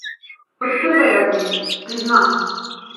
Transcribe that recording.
Od prvega dne, priznam.